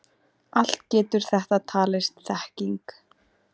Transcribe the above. Allt getur þetta talist þekking.